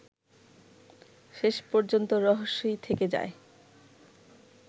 শেষ পর্যন্ত রহস্যই থেকে যায়